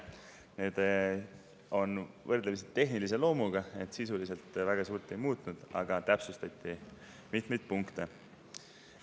Need on võrdlemisi tehnilise loomuga ja sisuliselt suurt ei muutnud, aga täpsustati mitmeid punkte.